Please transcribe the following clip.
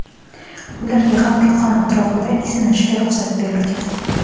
ularga ham gulxan atrofida isinishga ruxsat berilgan.